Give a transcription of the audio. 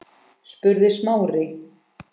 spurði Smári.